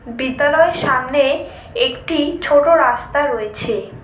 বিদ্যালয়ের সামনে একটি ছোট রাস্তা রয়েছে।